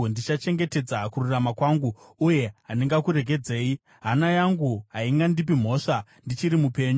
Ndichachengetedza kururama kwangu uye handingakuregedzi; hana yangu haingandipi mhosva ndichiri mupenyu.